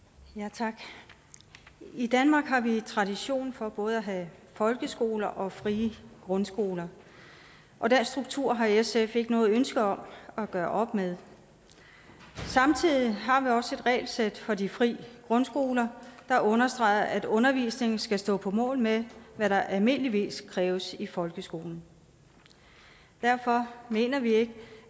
tak i danmark har vi tradition for både at have folkeskoler og frie grundskoler og den struktur har sf ikke noget ønske om at gøre op med samtidig har vi også et regelsæt for de frie grundskoler der understreger at undervisningen skal stå på mål med hvad der almindeligvis kræves i folkeskolen derfor mener vi ikke